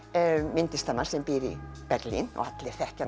myndlistarmann sem býr í Berlín og allir þekkja